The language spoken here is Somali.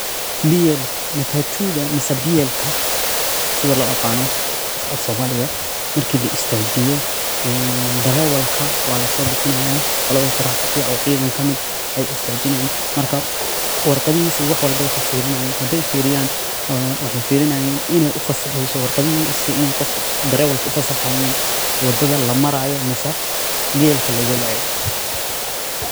Matatuda mise biyelka sida loo aqaano afsoomaliga marki la istaajiyo, darewalka waa lasoo bixinaayaa qolada trafikya oo ciidan kamid ay istaajinaayaan marka warqadihiisa iyo wax walbo ay kafiirinaayaan hadaay fiiriyaan waxaay firinaayaan inaay ufasaxeyso warqadihiisa inaay darewalka ufasaxaayaan wadada lamaraayo mise biyelka lawadaayo.